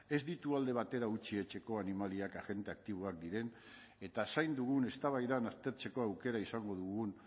ez ditu alde batera utzi etxeko animaliak agente aktiboak diren eta zain dugun eztabaidan aztertzeko aukera izango dugun